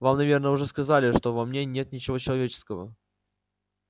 вам наверное уже сказали что во мне нет ничего человеческого